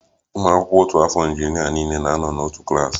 ụmụ akwụkwọ otu afọ injinịa niile na-anọ n'otu klas